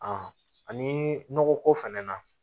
ani nɔgɔ ko fɛnɛ na